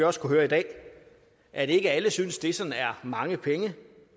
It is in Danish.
også kunnet høre i dag at ikke alle synes det sådan er mange penge